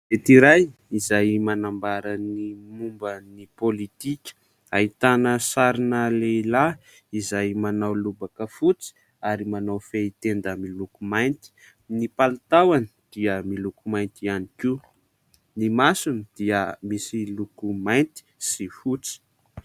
Gazety iray izay manambara ny momba ny politika, ahitana sarina lehilahy izay manao lobaka fotsy ary manao fehitenda miloko mainty. Ny palitaony dia miloko mainty ihany koa, ny masony dia misy loko mainty sy fotsy.